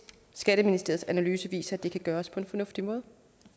skatteministeriets analyse viser at det kan gøres på en fornuftig måde